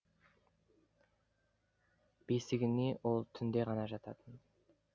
бесігіне ол түнде ғана жататын